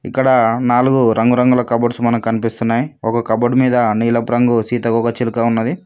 ఇక్కడ నాలుగు రంగురంగుల కబోర్డ్స్ మనకు కనిపిస్తున్నాయి ఒక కబోర్డ్ మీద నీలపు రంగు సీతకోకచిలుక ఉన్నది.